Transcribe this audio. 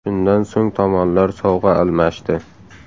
Shundan so‘ng tomonlar sovg‘a almashdi.